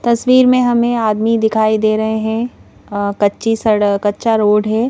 तस्वीर में हमें आदमी दिखाई दे रहे हैं अ कच्ची सड़क कच्चा रोड है.